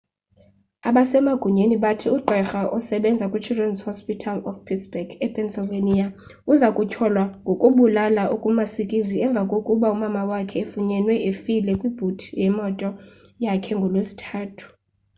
abasemagunyeni bathi ugqirha obesebenza kwichildren's hospital of pittsburgh epennsylvania uza kutyholwa ngokubulala okumasikizi emva kokuba umama wakhe efunyenwe efile kwibhuti yemoto yakhe ngolwesithathu